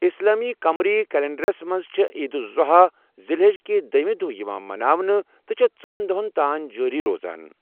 اِسلٲمی قمری کلنٛڈرس منٛز چھےٚ عیٖد الاضحیٰ، ذی الحج کہِ دٔہِمہِ دۄہ یِوان منأونہِ تہٕ چھےٚ ژۄن دۄہن تانۍ جٲری روزان۔